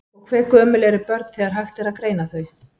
Og hve gömul eru börn þegar það er hægt að greina þau?